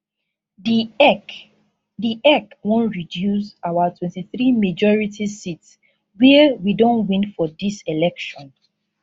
di ec di ec wan reduce our 23 majority seats wia we don win for dis election